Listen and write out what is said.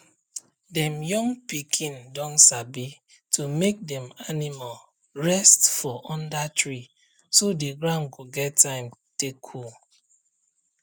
dem young pikin don sabi to make dem animal rest for under treeso the ground go get time take cool